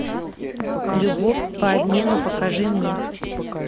любовь по обмену покажи мне